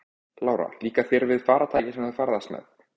Lára: Líkar þér við farartækið sem þú ferðast með?